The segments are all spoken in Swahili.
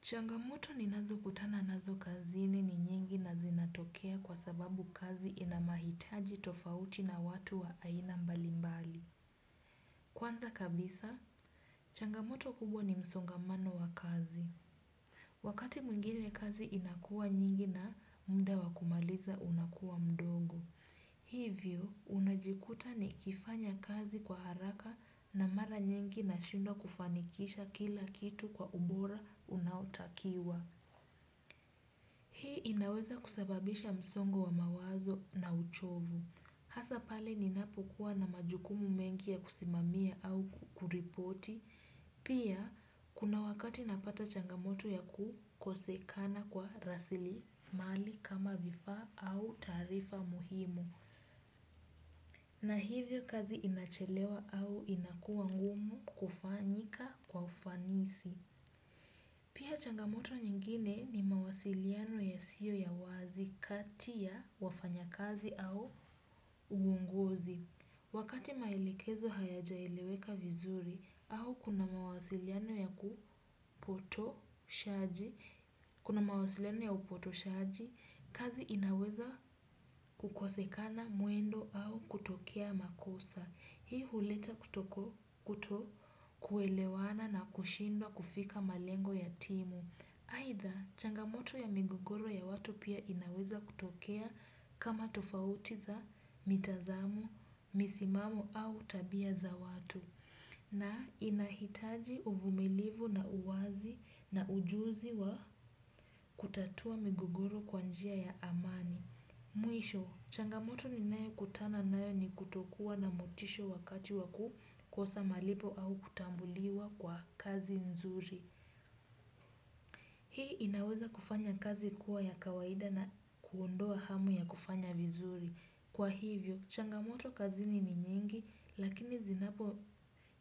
Changamoto ninazo kutana nazo kazini ni nyingi na zinatokea kwa sababu kazi inamahitaji tofauti na watu wa aina mbalimbali. Kwanza kabisa, changamoto kubwa ni msongamano wa kazi. Wakati mwingine kazi inakuwa nyingi na muda wa kumaliza unakuwa mdogo. Hivyo, unajikuta nikifanya kazi kwa haraka na mara nyingi nashindwa kufanikisha kila kitu kwa ubora unaotakiwa. Hii inaweza kusababisha msongo wa mawazo na uchovu. Hasa pale ninapokuwa na majukumu mengi ya kusimamia au kuripoti. Pia, kuna wakati napata changamoto ya kukosekana kwa rasilimali kama vifaa au tarifa muhimu. Na hivyo kazi inachelewa au inakuwa ngumu kufanyika kwa ufanisi. Pia changamoto nyingine ni mawasiliano yasiyo ya wazi kati ya wafanyakazi au uongozi. Wakati maelekezo hayachaeleweka vizuri au kuna mawasiliano ya upotoshaji, kazi inaweza kukosekana mwendo au kutokea makosa. Hii huleta kuto kuelewana na kushindwa kufika malengo ya timu. Haidha, changamoto ya migugoro ya watu pia inaweza kutokea kama tofauti za mitazamo, misimao au tabia za watu. Na inahitaji uvumilivu na uwazi na ujuzi wa kutatua migogoro kwa njia ya amani. Mwisho, changamoto ninayo kutana nayo ni kutokuwa na motisho wakati wakukoza malipo au kutambuliwa kwa kazi nzuri. Hii inaweza kufanya kazi kuwa ya kawaida na kuondoa hamu ya kufanya vizuri. Kwa hivyo, changamoto kazini ni nyingi, lakini zinapo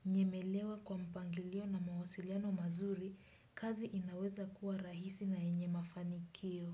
nyemelewa kwa mpangilio na mawasiliano mazuri, kazi inaweza kuwa rahisi na yenye mafanikio.